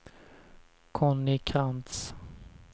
Conny Krantz